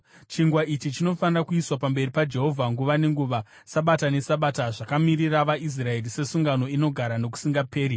Chingwa ichi chinofanira kuiswa pamberi paJehovha nguva nenguva, Sabata neSabata zvakamirira vaIsraeri sesungano inogara nokusingaperi.